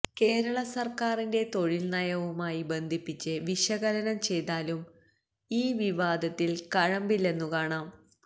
കേരളസർക്കാരിന്റെ തൊഴിൽനയവുമായി ബന്ധിപ്പിച്ച് വിശകലനം ചെയ്താലും ഈ വിവാദത്തിൽ കഴമ്പില്ലെന്നുകാണാം